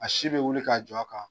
A si bɛ wuli k'a jɔ a kan.